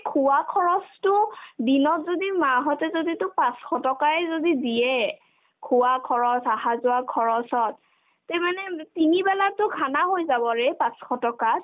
খোৱা খৰচতো দিনত যদি মা হঁতে যদিতো পাঁচশ টকাই যদি দিয়ে খোৱা খৰচ আহা-যোৱা খৰচ চব তে মানে তিনিবেলাতো khana হৈ যাবৰে পাঁচশ টকাত